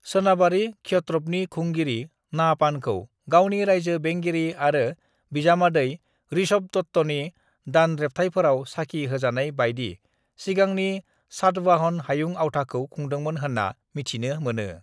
सोनाबारि क्षत्रपनि खुंगिरि नाहपानखौ गावनि रायजो बेंगिरि आरो बिजामादै ऋषभदत्तनि दानरेब्थायफोराव साखि होजानाय बायदि सिगांनि सातवाहन हायुं आवथाखौ खुंदोंमोन होनना मिथिनो मोनो।